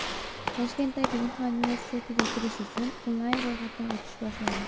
Toshkentdagi Inha universitetiga kirish uchun onlayn ro‘yxatdan o‘tish boshlandi.